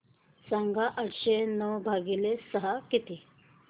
सांगा आठशे नऊ भागीले सहा किती